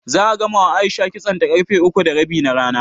Za'a gamawa A'isha kitsonta ƙarfe uku da rabi na rana.